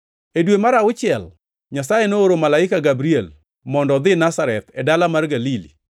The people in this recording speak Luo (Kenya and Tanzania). E dwe mar auchiel, Nyasaye nooro malaika Gabriel mondo odhi Nazareth, e dala mar Galili;